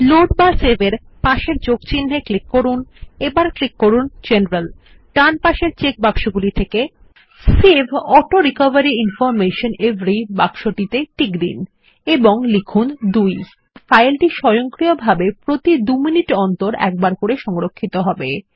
load বা save এর পাশের যোগ চিনহে ক্লিক করুন এবং ক্লিক করুন general save auto recovery information every বাক্সটিতে টিক দিন এবং লিখুন 2 ফাইলটি স্বয়ংক্রিয়ভাবে প্রতি দু মিনিট অন্তর একবার সংরক্ষিত হবে